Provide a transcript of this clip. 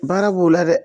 Baara b'o la dɛ